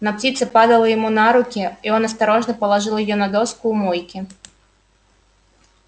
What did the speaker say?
но птица падала ему на руки и он осторожно положил её на доску у мойки